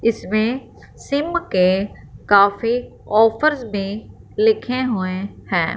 इसमें सिम के काफी ऑफर्स भी लिखे हुएं हैं।